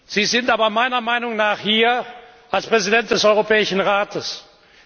Sie sind aber meiner Meinung nach als Präsident des Europäischen Rates hier.